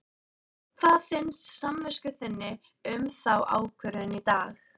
Hvað finnst samvisku þinni um þá ákvörðun í dag?